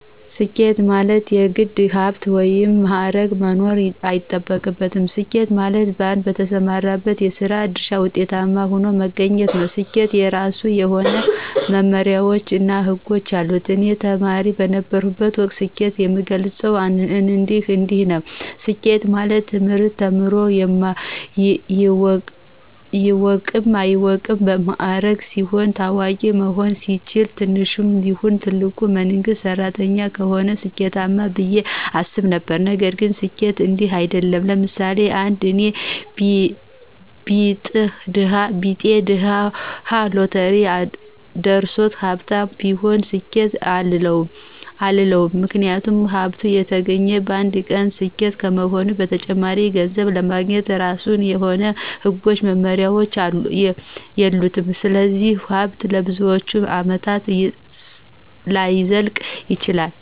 ስኬት ማለት የግድ ሀብታም ወይም ባለማዕረግ መሆን አይጠበቅብንም። ስኬት ማለት በአንድ በተሰማራንበት የስራ ድርሻ ውጤታማ ሁነን መገኘት ነው። ስኬት የራሱ የሆነ መመመሪያዎች እና ህጎች አሉት። እኔ ተማሪ በነበረሁበት ወቅት ስኬትን የምገልፀው እንዲንዲህ ነው። ስኬት ማለት ትምህርት ተምሮ ይወቅም አይወቅም ባለማዕረግ ሲሆን፣ ታዋቂ መሆን ሲችል፣ ትንሽም ይሁን ትልቅ የመንግስት ሰራተኛ ከሆነ ስኬማነው ብየ አስብ ነበረ። ነገር ግን ስኬት እንዲህ አይድለም። ለምሳሌ፦ አንድ የኔ ቢጤ ድሀ ሎተሪ ደርሶት ሀብታም ቢሆን ስኬት አንለውም ምክንያቱም ሀብቱ የተገኘ በአንድ ቀን ክስተት ከመሆኑም በተጨማሪ ገንዘቡን ለማግኘት የራሱ የሆነ ህጎችና መመሪያዎች የሉትም ስለዚህ ሀብቱ ለብዙዎቻችን አመታት ላይዘልቅ ይችላል።